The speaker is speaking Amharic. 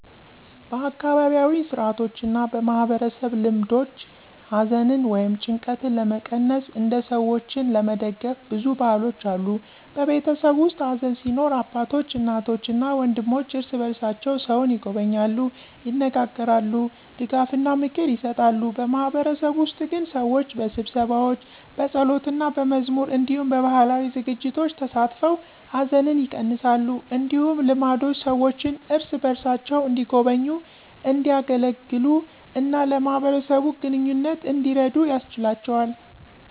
በአካባቢያዊ ሥርዓቶችና በማህበረሰብ ልማዶች ሐዘንን ወይም ጭንቀትን ለመቀነስ እና ሰዎችን ለመደግፍ ብዙ ባህሎች አሉ። በቤተሰብ ውስጥ ሐዘን ሲኖር አባቶች፣ እናቶች እና ወንድሞች እርስ በርሳቸው ሰውን ይጎበኛሉ፣ ይነጋገራሉ፣ ድጋፍና ምክር ይሰጣሉ። በማህበረሰብ ውስጥ ግን ሰዎች በስብሰባዎች፣ በጸሎትና በመዝሙር እንዲሁም በባህላዊ ዝግጅቶች ተሳትፈው ሐዘንን ይቀነሳሉ። እንደዚህ ልማዶች ሰዎችን እርስ በርሳቸው እንዲጎበኙ፣ እንዲያገለግሉ እና ለማህበረሰብ ግንኙነት እንዲረዱ ያስችላቸዋል።